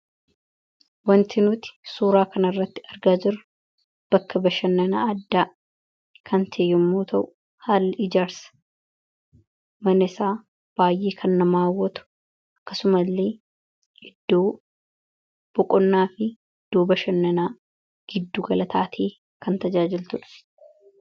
wantinuti suuraa kan irratti argaa jiru bakka bashannanaa addaa kantee yommoo ta'u haal ijars manesaa baay'ee kan namaawwatu akkasuma illee iddoo boqonnaa fi iddoo bashannanaa giddu galataatii kan tajaajiltudha